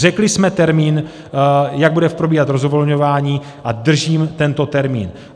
Řekli jsme termín, jak bude probíhat rozvolňování, a držím tento termín.